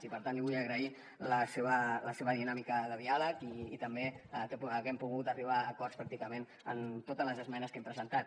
i per tant li vull agrair la seva dinàmica de diàleg i també que haguem pogut arribar a acords pràcticament en totes les esmenes que hem presentat